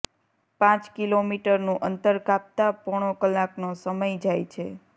પાંચ કિલોમીટરનું અંતર કાપતાં પોણો કલાકનો સમય જાય છે